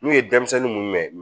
N'u ye denmisɛnnin mun minɛ